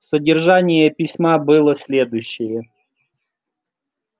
содержание письма было следующее